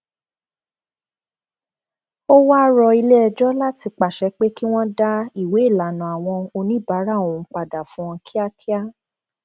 ó wáá rọ iléẹjọ láti pàṣẹ pé kí wọn dá ìwéélànnà àwọn oníbára òun padà fún wọn kíákíá